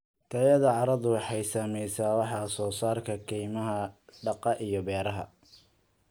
Tayada carradu waxay saamaysaa wax soo saarka kaymaha, daaqa iyo beeraha.